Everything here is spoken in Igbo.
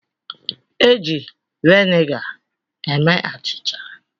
E ji vinega eme achịcha.